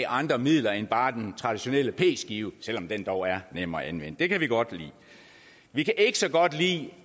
andre midler end bare den traditionelle p skive selv om den dog er nem at anvende det kan vi godt lide vi kan ikke så godt lide